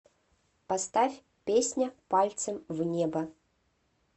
поставь песня пальцем в небо